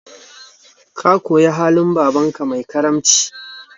Ka koyi halin babanka mai karamci